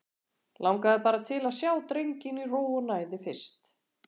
Langaði bara til að sjá drenginn í ró og næði fyrst.